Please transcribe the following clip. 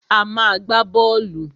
A má a gbá bọ́ọ́lù.